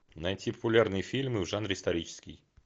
найти популярные фильмы в жанре исторический